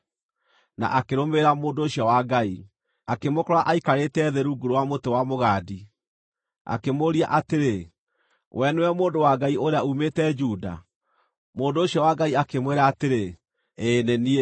na akĩrũmĩrĩra mũndũ ũcio wa Ngai. Akĩmũkora aikarĩte thĩ rungu rwa mũtĩ wa mũgandi, akĩmũũria atĩrĩ, “Wee nĩwe mũndũ wa Ngai ũrĩa uumĩte Juda?” Mũndũ ũcio wa Ngai akĩmwĩra atĩrĩ “Ĩĩ nĩ niĩ.”